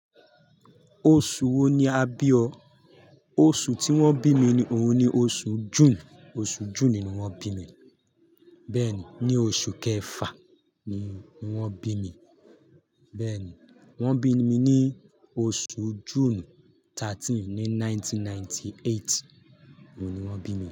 Oṣù wo ni a bí ọ? Oṣù tí wọ́n bí mi ni òun ni oṣù June. Ọsù June ni wọ́n bími. Bẹ́ẹ̀ ni, ní oṣù kẹfà ni wọ́n bí mi. Bẹ́ẹ̀ ni, wọ́n bí mi ní oṣù June 13, ní 1998. Òun ni wọ́n bí mi.